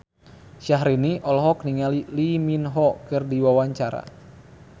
Syahrini olohok ningali Lee Min Ho keur diwawancara